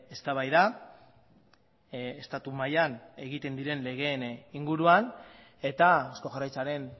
eztabaida estatu mailan egiten diren legeen inguruan eta eusko jaurlaritzaren